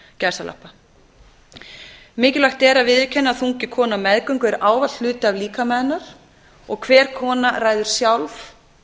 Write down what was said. að viðurkenna að þungi konu á meðgöngu er ávallt hluti af líkama hennar og hver kona ræður sjálf